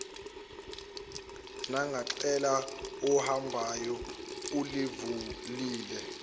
nangecala owahamba ulivulile